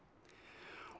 og